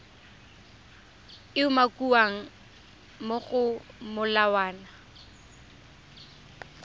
e umakiwang mo go molawana